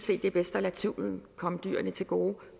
det er bedst at lade tvivlen komme dyrene til gode